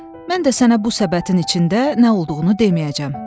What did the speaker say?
Mən də sənə bu səbətin içində nə olduğunu deməyəcəm.